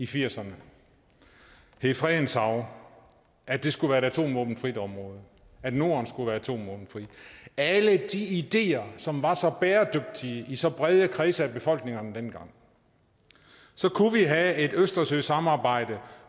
firserne hed fredens hav at det skulle være et atomvåbenfrit område at norden skulle være atomvåbenfrit alle de ideer som var så bæredygtige i så brede kredse af befolkningerne dengang så kunne vi have et østersøsamarbejde